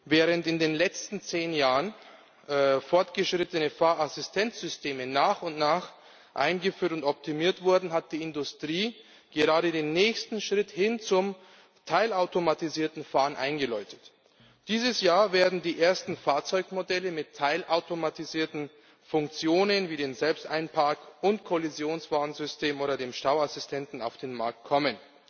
Während in den letzten zehn Jahren fortgeschrittene Fahrassistenzsysteme nach und nach eingeführt und optimiert wurden, hat die Industrie gerade den nächsten Schritt hin zum teilautomatisierten Fahren eingeläutet. Dieses Jahr werden die ersten Fahrzeugmodelle mit teilautomatisierten Funktionen wie dem Selbsteinpark und Kollisionswarnsystem oder dem Stauassistenten auf den Markt kommen.